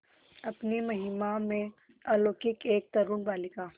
अपनी महिमा में अलौकिक एक तरूण बालिका